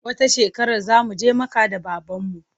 Wata shekarar za mu je Makka da babanmu.